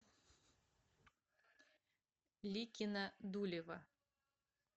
ликино дулево